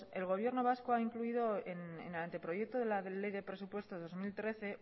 el gobierno vasco ha incluido en anteproyecto de la ley de presupuestos de dos mil trece